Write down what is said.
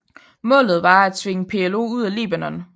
Målet var at tvinge PLO ud af Libanon